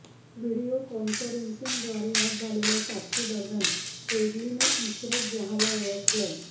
video कॉन्फरंसिंगद्वारे आज झालेल्या साक्षीदरम्यान हेडलीने इशरत जहाँला ओळखलं